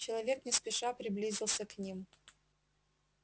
человек не спеша приблизился к ним